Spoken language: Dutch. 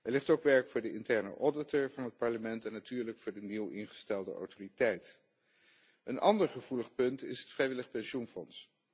Er ligt ook werk voor de interne auditor van het Parlement en natuurlijk voor de nieuw ingestelde autoriteit. Een ander gevoelig punt is het vrijwillig pensioenfonds.